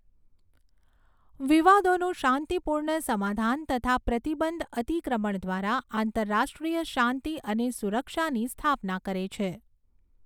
વિવાદોનું શાંતિપૂર્ણ સમાધાન તથા પ્રતિબંધ અતિક્રમણ દ્વારા આંતરરાષ્ટ્રીય શાંતિ અને સુરક્ષાની સ્થાપના કરે છે.